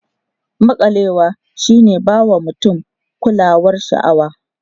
Maƙalewa shi ne ba mutum kulawar sha'awa.